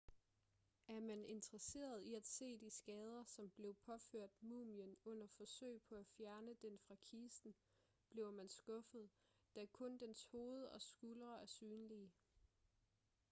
er man interesseret i at se de skader som blev påført mumien under forsøg på at fjerne den fra kisten bliver man skuffet da kun dens hoved og skuldre er synlige